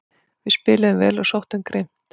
Við spiluðum vel og sóttum grimmt